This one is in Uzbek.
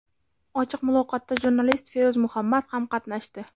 Ochiq muloqotda jurnalist Feruz Muhammad ham qatnashdi.